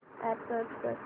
app search कर